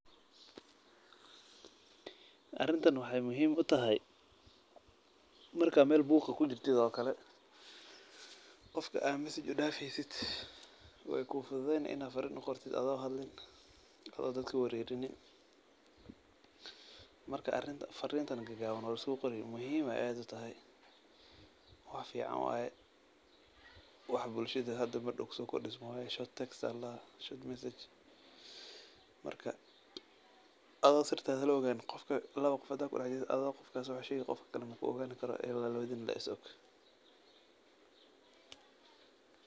Arintan waxay muhiim u tahay marka aa mel buuq ah kujirtid oo kale qofka aa message u dhaafeysid wey kufududeyni inaad farin u qortid ado hadlin oo dadka warerinin. Marka arinta farintan gagaaban oo soqori muhiim ayay aad u tahay wax fiican waaye wax hada bulshada mardaw kusokordhismay waye short text short message. Marka ado sirtada la oganin qof laba qof hada kudax jirtid ado qofkas wax u sheegi qofka kale maku ogaani karo ee ila labadina le is og.